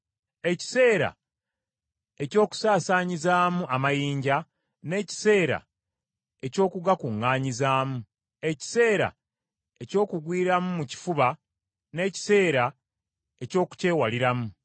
ekiseera eky’okusaasaanyizaamu amayinja, n’ekiseera eky’okugakuŋŋaanyizaamu; ekiseera eky’okugwiramu mu kifuba n’ekiseera eky’okukyewaliramu;